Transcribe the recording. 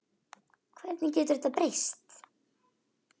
Hvernig getur þetta breyst?